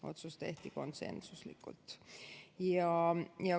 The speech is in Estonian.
Otsus tehti konsensuslikult.